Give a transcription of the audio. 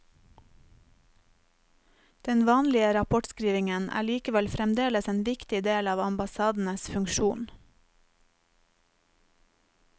Den vanlige rapportskrivingen er likevel fremdeles en viktig del av ambassadenes funksjon.